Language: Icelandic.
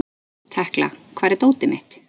Tekla, hvar er dótið mitt?